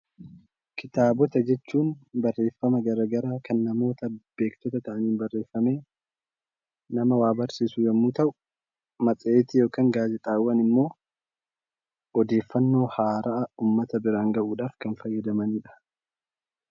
Barreeffama jechuun kan namoota garaagaraa beektota ta'aniin barreeffaman nama waa barsiisu yoo ta'u, matseetii yookaan immoo gaazexaawwan immoo odeeffannoo haaraa uummata biraan gahuuf kan fayyadamudha.